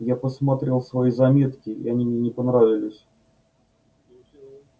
я посмотрел свои заметки и они мне не понравились